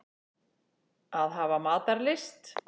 Að hafa matarlyst.